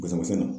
Bɔlɔlɔ sɛnɛ na